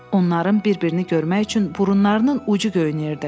Onların bir-birini görmək üçün burunlarının ucu göynəyirdi.